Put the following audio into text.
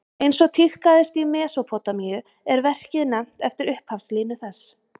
Eins og tíðkaðist í Mesópótamíu er verkið nefnt eftir upphafslínu þess.